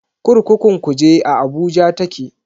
Kurkukun Kuje a Abuja take.